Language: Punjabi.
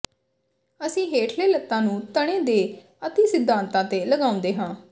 ਅਸੀਂ ਹੇਠਲੇ ਲੱਤਾਂ ਨੂੰ ਤਣੇ ਦੇ ਅਤਿ ਸਿਧਾਂਤਾਂ ਤੇ ਲਗਾਉਂਦੇ ਹਾਂ